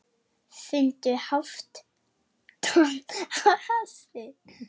Fundu hálft tonn af hassi